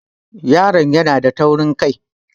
Yaron nan yana da taurin kai.